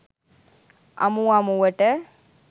අමු අමුවට